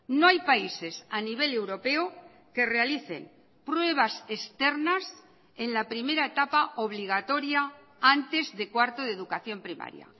no hay países a nivel europeo que realicen pruebas externas en la primera etapa obligatoria antes de cuarto de educación primaria